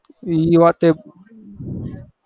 એ વાતે